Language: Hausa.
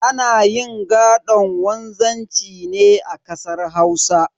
Ana yin gaɗon wanzanci ne a kasar Hausa.